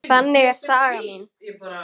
Þannig er saga mín.